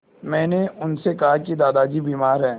मैंने उनसे कहा कि दादाजी बीमार हैं